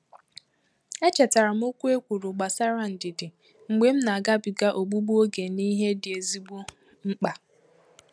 Echetara m okwu e kwuru gbasara ndidi mgbe nna agabiga ogbugbu oge n'ìhè dị ezigbo mkpa